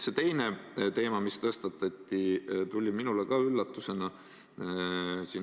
See teine teema, mis tõstatati, tuli minule ka üllatusena.